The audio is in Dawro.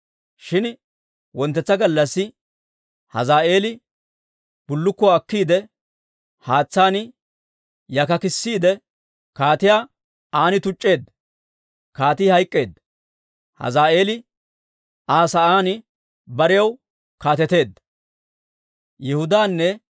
Shin wonttetsa gallassi Hazaa'eeli bullukkuwaa akkiide, haatsaan yakkakkissiide, kaatiyaa an tuc'c'eedda; kaatii hayk'k'eedda. Hazaa'eeli Aa sa'aan barew kaateteedda.